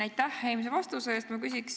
Aitäh eelmise vastuse eest!